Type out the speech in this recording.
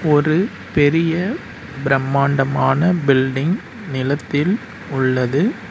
ஒரு பெரிய பிரம்மாண்டமான பில்டிங் நிலத்தில் உள்ளது.